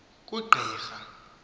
kugqirha